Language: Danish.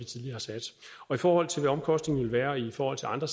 tidligere har sat i forhold til hvad omkostningerne ville være i forhold til andre